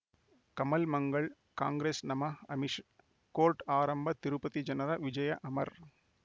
ಕಮಲ್ ಮಂಗಳ್ ಕಾಂಗ್ರೆಸ್ ನಮಃ ಅಮಿಷ್ ಕೋರ್ಟ್ ಆರಂಭ ತಿರುಪತಿ ಜನರ ವಿಜಯ ಅಮರ್